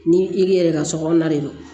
Ni i yɛrɛ ka sokɔnɔna de don